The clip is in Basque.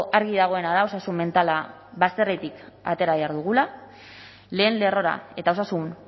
argi dagoena da osasun mentala bazterretik atera behar dugula lehen lerrora eta osasun